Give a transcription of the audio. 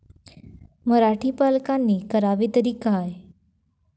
मराठी पालकांनी करावे तरी काय?